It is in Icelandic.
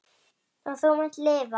Við erum sér heimur.